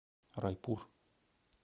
райпур